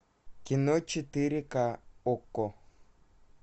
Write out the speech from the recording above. кино четыре ка окко